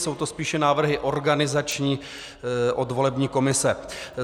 Jsou to spíše návrhy organizační od volební komise.